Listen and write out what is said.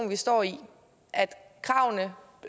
vi står i